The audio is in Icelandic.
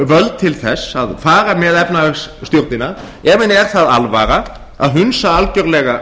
völd til þess að fara með efnahagsstjórnina ef henni er það alvara að hundsa algjörlega